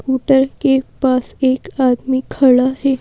Scooter के पास एक आदमी खड़ा है।